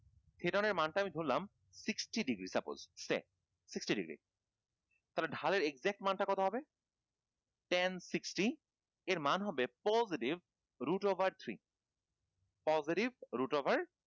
ধরলাম sixty degree suppose sixty degree ধারের exact মান টা কত হবে? ten sixty এর মান হবে root over three positive